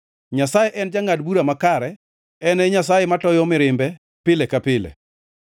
Nyasaye en jangʼad bura makare; en e Nyasaye matoyo mirimbe pile ka pile.